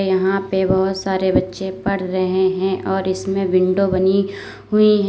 यहाँ पे बहोत सारे बच्चे पढ़ रहे हैं और इसमें विंडो बनी हुई है।